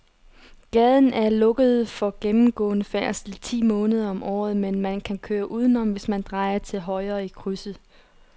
Gaden er lukket for gennemgående færdsel ti måneder om året, men man kan køre udenom, hvis man drejer til højre i krydset.